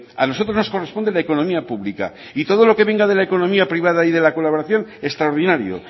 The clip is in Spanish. a nosotros nos corresponde la economía pública y todo lo que venga de la economía privada y de la colaboración extraordinario